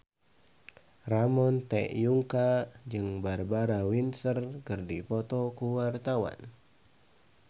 Ramon T. Yungka jeung Barbara Windsor keur dipoto ku wartawan